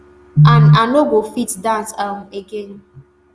and i no go fit dance um again